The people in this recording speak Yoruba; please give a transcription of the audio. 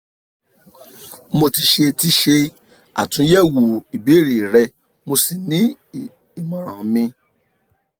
mo ti ṣe ti ṣe atunyẹwo ìbéèrè rẹ mo sì ní ìmọ̀ràn mi